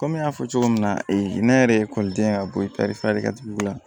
Kɔmi n y'a fɔ cogo min na ne yɛrɛ ye ekɔliden ye ka bɔ feerekɛla tigila